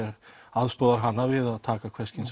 aðstoðar hana við að taka hvers kyns